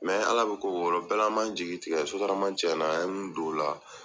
Ala bɛ ko o ko la o bɛɛ la an man jigi tigɛ sotarama cɛn na an ye min don o la.